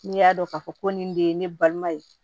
N'i y'a dɔn k'a fɔ ko nin de ye ne balima ye